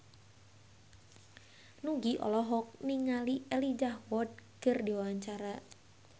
Nugie olohok ningali Elijah Wood keur diwawancara